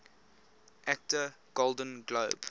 actor golden globe